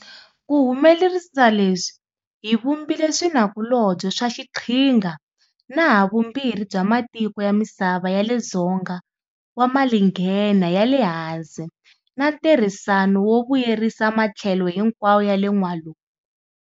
Ku humelerisa leswi hi vumbile swinakulobye swa xiqhinga na havumbirhi bya matiko ya misava ya le Dzonga wa Malinghena ya le Hansi na ntirhisano wo vuyerisa matlhelo hinkwawo ya le N'walungu.